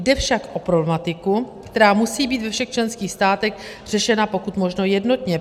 Jde však o problematiku, která musí být ve všech členských státech řešena pokud možno jednotně.